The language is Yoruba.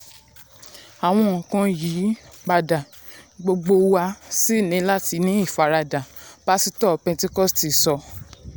"àwọn nǹkan n yí um padà gbogbo wa um sì ní láti ní ìfaradà" pásítọ̀ pẹ́ńtíkọ́stì sọ.